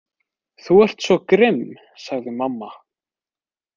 Þú ert svo grimm, sagði mamma.